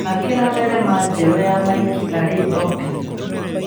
Thakĩra thinema njerũ ya Mikĩ Arĩ Opĩni